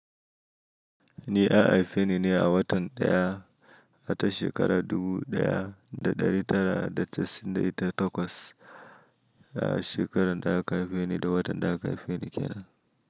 Ni an aife ni ne a watan ɗaya, a ta shekara dubu ɗaya da ɗari tara da casa'in da ita takwas. A shekaran da aka haife ni da watan da aka haife ni kenan.